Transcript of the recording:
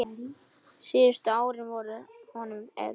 Síðustu árin voru honum erfið.